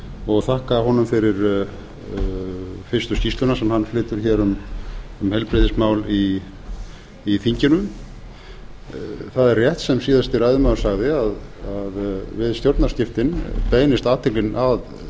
og þakka honum fyrir fyrstu skýrsluna sem hann flytur hér um heilbrigðismál í þinginu það er rétt sem síðasti ræðumaður sagði við stjórnarskiptin beinist athyglin að